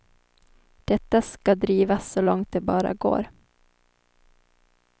Detta ska drivas så långt det bara går.